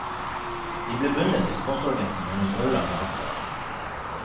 De ble bundet til sponsoragenten gjennom årelange avtaler.